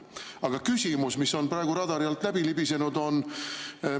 Aga küsimus, mis on praegu radari alt läbi libisenud, on see.